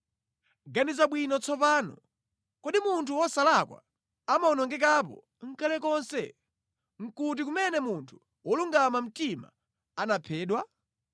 “Ganiza bwino tsopano: Kodi munthu wosalakwa anawonongekapo nʼkale lonse? Nʼkuti kumene munthu wolungama mtima anaphedwa?